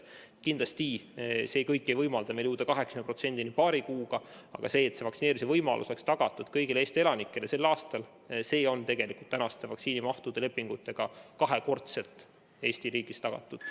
Kindlasti ei võimalda see meil jõuda 80% inimeste vaktsineerimiseni paari kuuga, aga see, et vaktsineerimise võimalus oleks tagatud kõigile Eesti elanikele sel aastal, on tegelikult praeguste lepingutega kahekordselt Eesti riigile tagatud.